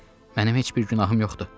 Mənim heç bir günahım yoxdur.